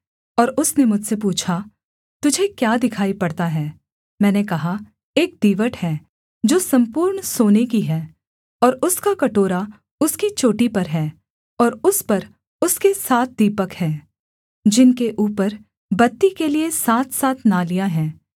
और उसने मुझसे पूछा तुझे क्या दिखाई पड़ता है मैंने कहा एक दीवट है जो सम्पूर्ण सोने की है और उसका कटोरा उसकी चोटी पर है और उस पर उसके सात दीपक हैं जिनके ऊपर बत्ती के लिये सातसात नालियाँ हैं